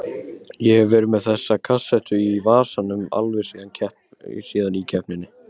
Ég hef verið með þessa kassettu í vasanum alveg síðan í keppninni